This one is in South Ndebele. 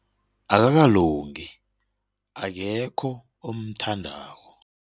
Akakalungi akekho omthandako.